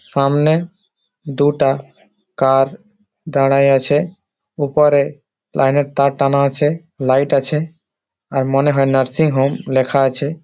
সামনে দুটা কার দাঁড়ায় আছে ওপারে লাইন এর তার টানা আছে লাইট আছে আর মনে হয় নার্সিং হোম লেখা আছে।